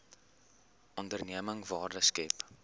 onderneming waarde skep